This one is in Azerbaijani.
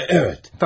Bəli, bəli.